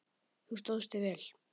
Þú stóðst þig vel.